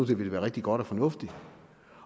det ville være rigtig godt og fornuftigt